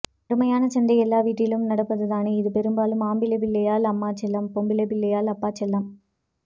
அருமையான சண்டை எல்லா வீட்டிலும் நடப்பதுதானே இது பெரும்பாலும் ஆம்பிளைப்பிள்ளையள் அம்மா செல்லம் பொம்பிளைப்ப் பிள்ளையள் அப்பா செல்லம்